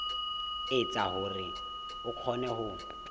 etsa hore o kgone ho